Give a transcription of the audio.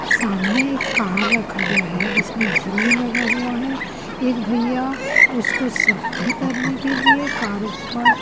सामने एक कार रखा गया है जिसमें झिल्ली लगा हुआ है एक भईया उसको सफाई करने के लिए कार उपर--